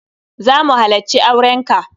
Za mu halacci auren ka.